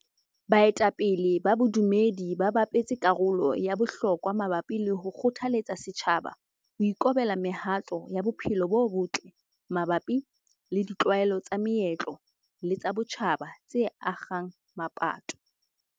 Baetapele ba bodumedi ba bapetse karolo ya bohlokwa mabapi le ho kgothaletsa setjhaba ho ikobela mehato ya bophelo bo botle mabapi le ditlwaelo tsa meetlo le tsa botjhaba tse akgang mapato.